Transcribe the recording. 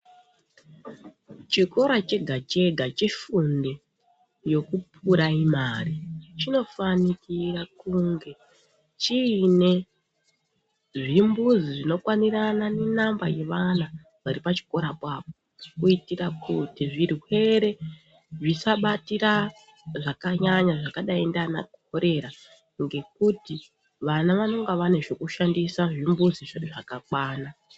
Chikora chega chega chefundo yekupuraimari chinofanikira kuita kunge chinezvimbuzi zvinokwanirana nenamba yevana varipachikorapo apo kuitira kuti zvirwere zvisabatira zvakanyanya zvakadai ngaana korera ngekuti vana vanonga vanenge vane zvekushandisa zvimbuzi zvedu zvakakwana.